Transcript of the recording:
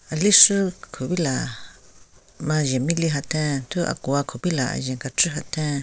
Aleshü kupila majhen mieli hatheng thu akuwa kupila ajen kechvü hatheng.